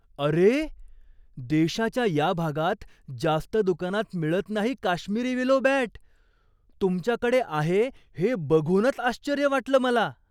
अरे! देशाच्या या भागात जास्त दुकानात मिळत नाही काश्मिरी विलो बॅट. तुमच्याकडे आहे हे बघूनच आश्चर्य वाटलं मला.